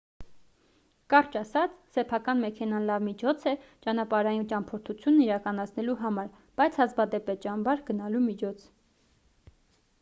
կարճ ասած սեփական մեքենան լավ միջոց է ճանապարհային ճամփորդություն իրականացնելու համար բայց հազվադեպ է ճամբար գնալու միջոց